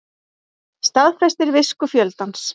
Staðfestir visku fjöldans